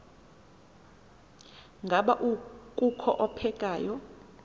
ngaba kukho ophekayo